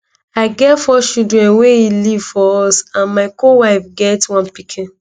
"i get four children wey e leave for us and my co wife get one pikin.